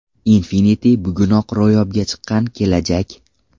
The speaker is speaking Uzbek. Infinity bugunoq ro‘yobga chiqqan kelajak!